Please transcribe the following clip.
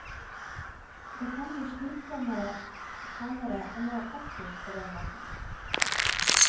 Det kan bli slitsommere, sannere og mer aktivt på den måten.